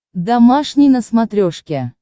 домашний на смотрешке